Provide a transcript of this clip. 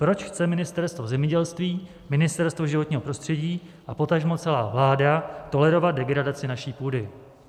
Proč chce Ministerstvo zemědělství, Ministerstvo životního prostředí a potažmo celá vláda tolerovat degradaci naší půdy?